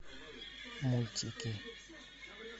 мультики